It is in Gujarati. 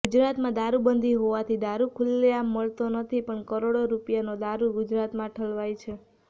ગુજરાતમાં દારૂ બંધી હોવાથી દારૂ ખુલ્લેઅાંમ મળતો નથી પણ કરોડો રૂપિયાનો દારૂ ગુજરાતમાં ઠલવાય છે